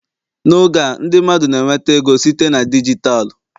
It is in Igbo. N'oge a ndị mmadụ na-enweta ego site na dijitalụ